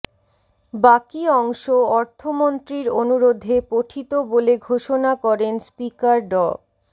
বাকি অংশ অর্থমন্ত্রীর অনুরোধে পঠিত বলে ঘোষণা করেন স্পিকার ড